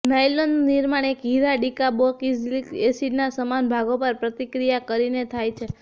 નાયલોનનું નિર્માણ એક હીરા અને ડીકાર્બોક્ઝિલિક એસિડના સમાન ભાગો પર પ્રતિક્રિયા કરીને થાય છે